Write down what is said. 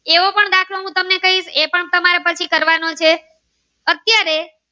તમારે પછી કરવાનો છે અત્યારે.